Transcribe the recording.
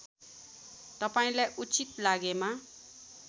तपाईँलाई उचित लागेमा